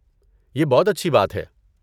یہ بہت اچھی بات ہے۔